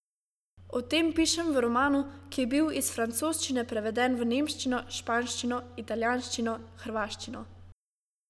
O tem pišem v romanu, ki je bil iz francoščine preveden v nemščino, španščino, italijanščino, hrvaščino ...